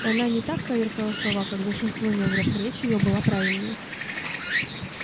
и она не так коверкала слова как большинство негров речь её была правильнее